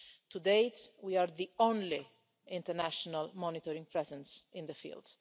To date, we are the only international monitoring presence in the field.